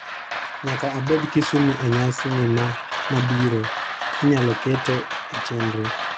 Nyaka abed Kisumu e nyasi ni ma mabiro, inyalo kete e chenro